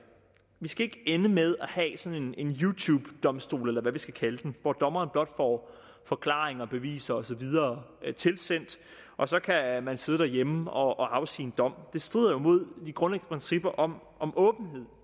vi skal ikke ende med at have sådan en you tube domstol eller hvad vi skal kalde den hvor dommeren blot får forklaringer og beviser og så videre tilsendt og så kan man sidde derhjemme og afsige en dom det strider jo imod de grundlæggende principper om om åbenhed